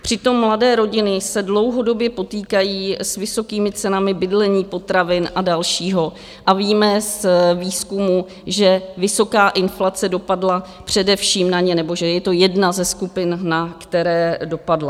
Přitom mladé rodiny se dlouhodobě potýkají s vysokými cenami bydlení, potravin a dalšího a víme z výzkumu, že vysoká inflace dopadla především na ně, nebo že je to jedna ze skupin, na které dopadla.